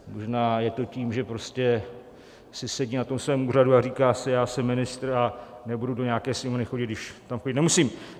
Možná je to tím, že prostě si sedí na tom svém úřadu a říká si: Já jsem ministr a nebudu do nějaké Sněmovny chodit, když tam chodit nemusím.